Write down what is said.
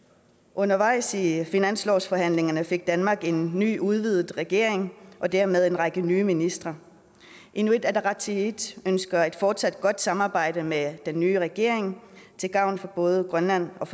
undervejs i finanslovsforhandlingerne fik danmark en ny og udvidet regering og dermed en række nye ministre inuit ataqatigiit ønsker et fortsat godt samarbejde med den nye regering til gavn for både grønland og